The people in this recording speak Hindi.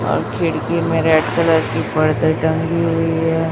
और खिड़की में रेड कलर की पर्दा टंगी हुई है।